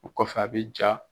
U kɔ fɛ ,a bɛ ja.